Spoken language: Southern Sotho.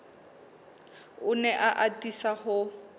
o ne a atisa ho